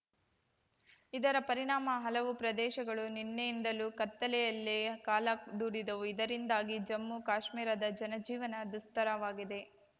ಇದರ ಪರಿಣಾಮ ಹಲವು ಪ್ರದೇಶಗಳು ನಿನ್ನೆಯಿಂದಲೂ ಕತ್ತಲೆಯಲ್ಲೇ ಕಾಲ ದೂಡಿದವು ಇದರಿಂದಾಗಿ ಜಮ್ಮುಕಾಶ್ಮೀರದ ಜನ ಜೀವನ ದುಸ್ತರವಾಗಿದೆ